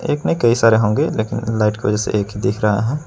एक नही कई सारे होंगे लेकिन लाइट के वजह से एक ही दिख रहा--